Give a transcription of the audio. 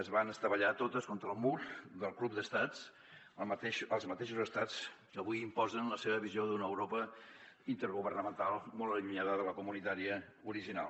es van estavellar totes contra el mur del club d’estats els mateixos estats que avui imposen la seva visió d’una europa intergovernamental molt allu·nyada de la comunitària original